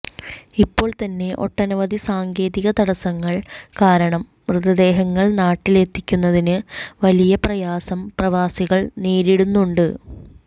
ഇപ്പോൾ തന്നെ ഒട്ടനവധി സാങ്കേതിക തടസ്സങ്ങൾ കാരണം മൃതദേഹങ്ങൾ നാട്ടിലെത്തിക്കുന്നതിന് വലിയ പ്രയാസം പ്രവാസികൾ നേരിടുന്നുണ്ട്